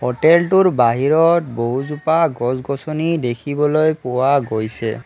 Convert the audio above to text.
হোটেলটোৰ বাহিৰত বহুজোপা গছ-গছনি দেখিবলৈ পোৱা গৈছে।